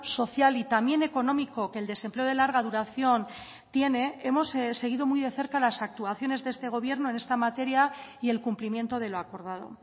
social y también económico que el desempleo de larga duración tiene hemos seguido muy de cerca las actuaciones de este gobierno en esta materia y el cumplimiento de lo acordado